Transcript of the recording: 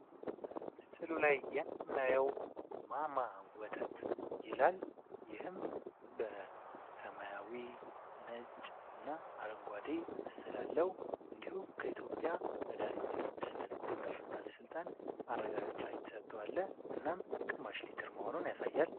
በምስሉ ላይ የምናየው "ማማ ወተት" ይላል። ይህም በሰማያዊ፣ ነጭ እና አረንጓዴ ምስል አለው። እንዲሁም ከኢትዮጵያ መድሀኒት ደህነት ቁጥጥር ባለሥልጣን ማረጋዮች የተሰጠለው እናም ግማሽሊትር መሆኑን ያሳያል።